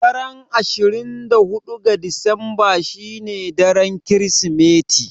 Daren ashirin da huɗu ga Disamba shine daren Kirsimeti.